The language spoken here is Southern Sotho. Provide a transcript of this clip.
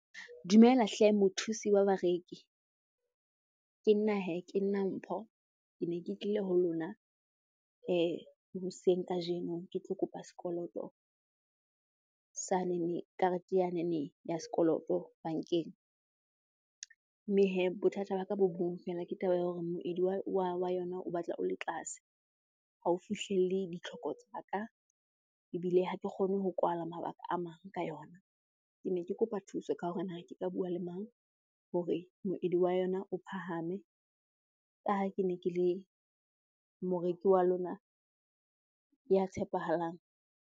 Dumela hle mothusi wa bareki. Ke nna hee, ke nna Mpho. Ke ne ke tlile ho lona hoseng kajeno ke tlo kopa sekoloto sanene, karete yanene ya sekoloto bankeng. Mme hee bothata ba ka bo bong feela, ke taba ya hore moedi wa yona o batla o le tlase. Ha o fihlelle ditlhoko tsa ka ebile ha ke kgone ho kwala mabaka a mang ka yona. Ke ne ke kopa thuso ka hore na ke ka bua le mang? hore moedi wa yona o phahame, ka ha ke ne ke le moreki wa lona ya tshepahalang.